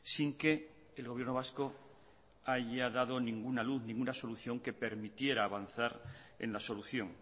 sin que el gobierno vasco haya dado ninguna luz ninguna solución que permitiera avanzar en la solución